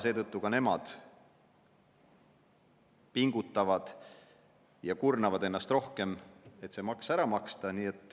Seetõttu ka nemad pingutavad ja kurnavad ennast rohkem, et see maks ära maksta.